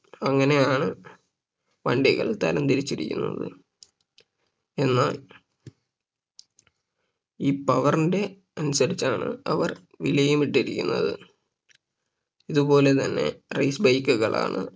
അങ്ങനെയാണ് വണ്ടികൾ തരംതിരിച്ചിരിക്കുന്നത് എന്നാൽ ഈ power ന്റെ അനുസരിച്ചാണ് അവർ വിലയും ഇട്ടിരിക്കുന്നത് ഇതുപോലെ തന്നെ Race bike കളാണ്